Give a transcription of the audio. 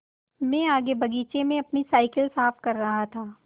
मैं आगे बगीचे में अपनी साईकिल साफ़ कर रहा था